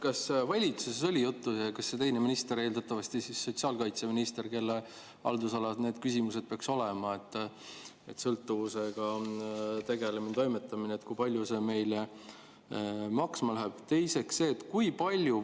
Kas oli juttu valitsuses ja selle teise ministriga, eeldatavasti siis sotsiaalkaitseministriga, kelle haldusalas peaks olema need küsimused, sõltuvusega tegelemine ja toimetamine, et kui palju see meile maksma läheb?